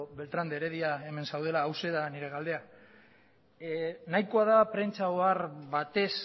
beltrán de heredia hemen zaudela hauxe da nire galdera nahikoa da prentsa ohar batez